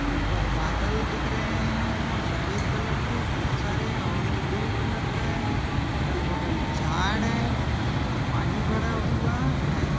ऊपर बादल दिख रहे है और सफ़ेद कलर खुबसारे है और ब्लू कलर का है अगल बगल झाड़ है पानी भरा हुआ है।